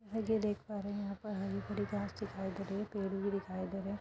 देख पा रहे हैं हरी भरी घास भी दिखाई दे रही है पेड़ भी दिखाई दे रहे हैं |